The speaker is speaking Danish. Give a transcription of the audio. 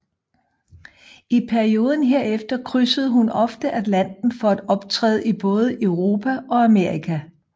I perioden herefter krydsede hun ofte Atlanten for at optræde i både Europa og Amerika